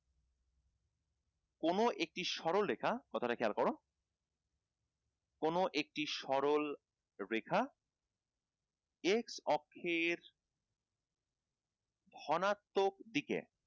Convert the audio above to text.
কোন একটি সরলরেখা কথাটি খেয়াল কর কোন একটি সরলরেখা x অক্ষের ধনাত্মক দিকে